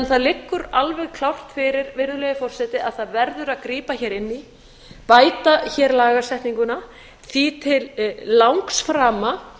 það liggur því alveg klárt fyrir virðulegi forseti að það verður að grípa hér inn í bæta hér lagasetninguna því að til langframa